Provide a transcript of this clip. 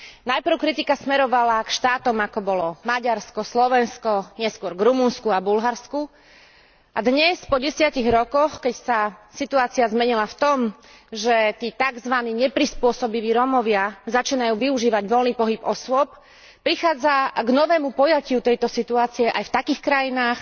Najprv kritika smerovala k štátom ako bolo Maďarsko, Slovensko, neskôr k Rumunsku a Bulharsku, a dnes, po desiatich rokoch, keď sa situácia zmenila v tom, že tí takzvaní neprispôsobiví Rómovia začínajú využívať voľný pohyb osôb, prichádza k novému poňatiu tejto situácie aj v takých krajinách